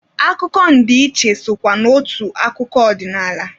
Akụkọ ndị ichie sokwa n'otu akụkọ ọdinaala.